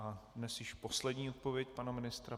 A dnes již poslední odpověď pana ministra.